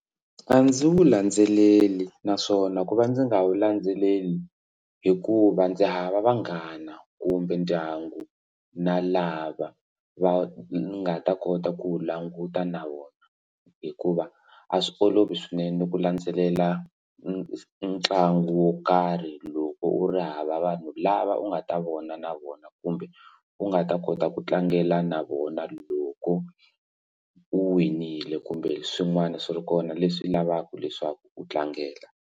A ndzi wu landzeleli naswona ku va ndzi nga wu landzeleli hikuva ndzi hava vanghana kumbe ndyangu na lava va nga ta kota ku languta na vona hikuva a swi olovi swinene ku landzelela ntlangu wo karhi loko u ri hava vanhu lava u nga ta vona na vona kumbe u nga ta kota ku tlangela na vona loko u winile kumbe swin'wana swi ri kona leswi lavaka leswaku u tlangela.